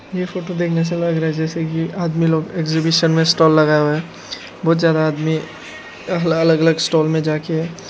ये फोटो देखने से लग रहा है जैसे कि आदमी लोग एग्जिबिशन में स्टॉल लगाए हुआ है बहुत ज्यादा आदमी अलग अलग स्टॉल में जा के--